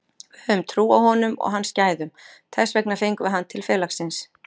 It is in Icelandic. Við höfum trú á honum og hans gæðum, þess vegna fengum við hann til félagsins.